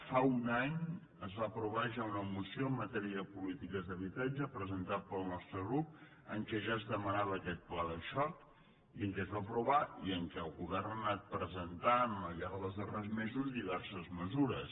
fa un any es va aprovar ja una moció en matèria de polítiques d’habitatge presentada pel nostre grup en què ja es demanava aquest pla de xoc i que es va aprovar i en què el govern ha anat presentant al llarg dels darrers mesos diverses mesures